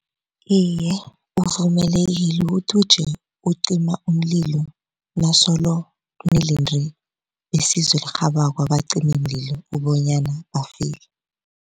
Iye, uvumelekile ukuthi uje ucima umlilo nasolo nilinde besizo elirhabako abacimimlilo ukubonyana bafike.